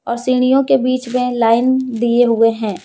और सीढ़ियों के बीच में लाइन दिए हुए हैं।